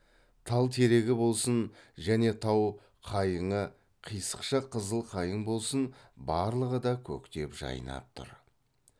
тал терегі болсын және тау қайыңы қисықша қызыл қайың болсын барлығы да көктеп жайнап тұр